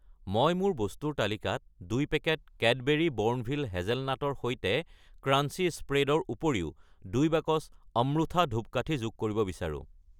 মই মোৰ বস্তুৰ তালিকাত 2 পেকেট কেডবেৰী বোৰ্ণভিটা হেজেলনাটৰ সৈতে ক্ৰাঞ্চি স্প্ৰেড ৰ উপৰিও 2 বাকচ অম্ৰুথা ধূপকাঠি যোগ কৰিব বিচাৰো।